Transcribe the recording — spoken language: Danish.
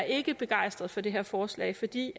ikke begejstret for det her forslag fordi